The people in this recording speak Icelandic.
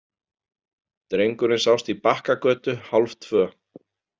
Drengurinn sást í Bakkagötu hálftvö.